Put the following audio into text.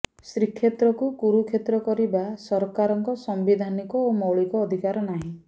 ଶ୍ରୀକ୍ଷେତ୍ରକୁ କୁରୁକ୍ଷେତ୍ର କରିବା ସରକାରଙ୍କ ସାମ୍ବିଧାନିକ ଓ ମୌଳିକ ଅଧିକାର ନାହିଁ